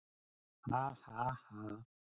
Ha ha ha!